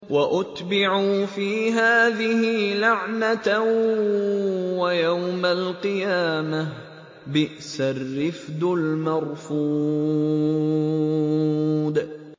وَأُتْبِعُوا فِي هَٰذِهِ لَعْنَةً وَيَوْمَ الْقِيَامَةِ ۚ بِئْسَ الرِّفْدُ الْمَرْفُودُ